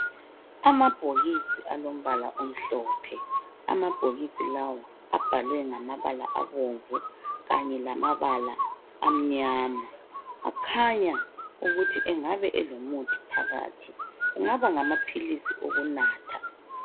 Amabhokisi alombala omhlophe amabhokisi lawa abhalwe ngamabala abomvu kanye lamabala amnyama akhanya ukuthi anagbe elomuthi phakathi kungaba ngamaphilisi okunatha.